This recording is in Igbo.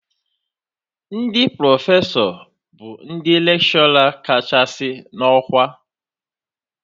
Ndị Profesọ bụ ndị lekshọra kachasị na ọkwa